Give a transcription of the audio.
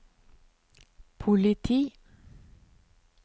politi